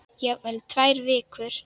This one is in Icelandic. Jafnvel í tvær vikur.